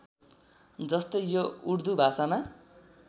जस्तै यो उर्दु भाषामा